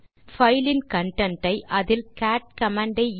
நாம் பைல் இன் கன்டென்ட் ஐ அதில் கேட் கமாண்ட்